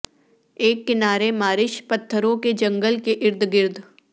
ایک کنارے مارش پتھروں کے جنگل کے ارد گرد